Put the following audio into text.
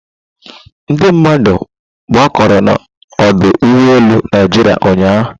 Ndị mmadụ gbakọrọ na ọdụ ụgbọ elu Naịjirịa ụnyahụ.